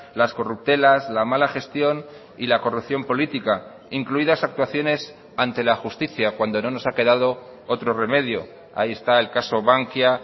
las corruptelas la mala gestión y la corrupción política incluidas actuaciones ante la justicia cuando no nos ha quedado otro remedio ahí está el caso bankia